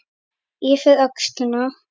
Yfir öxlina.